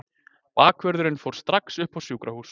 Bakvörðurinn fór strax upp á sjúkrahús.